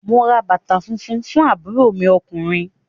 Mo ra bàtà funfun fún àbúrò mi ọkùnrin.